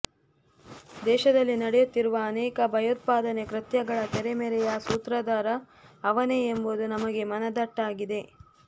ದೇಶದಲ್ಲಿ ನಡೆಯುತ್ತಿರುವ ಅನೇಕ ಭಯೋತ್ಪಾದನೆ ಕೃತ್ಯಗಳ ತೆರೆಮರೆಯ ಸೂತ್ರಧಾರ ಅವನೇ ಎಂಬುದು ನಮಗೆ ಮನದಟ್ಟಾಗಿದೆ